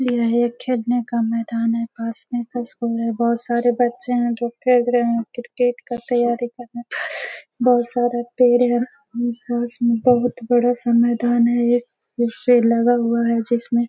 यह एक खेलने वाला मैदान है पास में स्कूल में बहोत सारे बच्चे हैं जो खेल रहे हैं। क्रिकेट का तैयारी कर रहे हैं। बहोत सारे पेड़ हैं पास में बहोत बड़ा सा मैदान है उससे लगा हुआ है जिसमे --